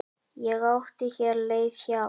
Ég átti hér leið hjá.